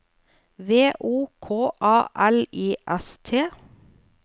V O K A L I S T